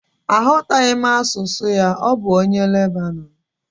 Aghọtaghị m asụsụ ya, ọ bụ onye Lebanọn